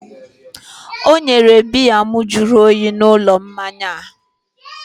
o nyere biya m jụrụ oyi n'ụlọ mmanya a